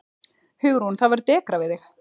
Hugrún: Það verður dekrað við þig?